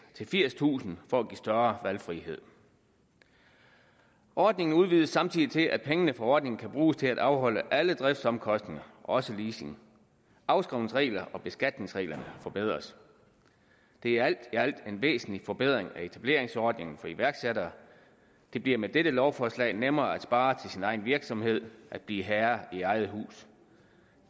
til firstusind for at give større valgfrihed ordningen udvides samtidig til at pengene fra ordningen kan bruges til at afholde alle driftsomkostninger også leasing afskrivningsreglerne og beskatningsreglerne forbedres det er alt i alt en væsentlig forbedring af etableringsordningen for iværksættere det bliver med dette lovforslag nemmere at spare til sin egen virksomhed at blive herre i eget hus